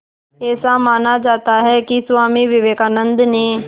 ऐसा माना जाता है कि स्वामी विवेकानंद ने